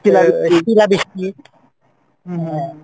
শীলা বৃষ্টি শিলা বৃষ্টি হম হম হম